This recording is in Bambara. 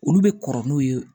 Olu bɛ kɔrɔ n'u ye